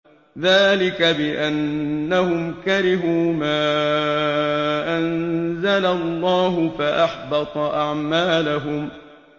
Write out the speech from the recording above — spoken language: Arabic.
ذَٰلِكَ بِأَنَّهُمْ كَرِهُوا مَا أَنزَلَ اللَّهُ فَأَحْبَطَ أَعْمَالَهُمْ